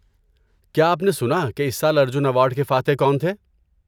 کیا آپ نے سنا کہ اس سال ارجن ایوارڈ کے فاتح کون تھے؟